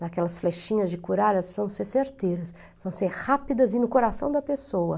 daquelas flechinhas de coralhas, vão ser certeiras, vão ser rápidas e no coração da pessoa.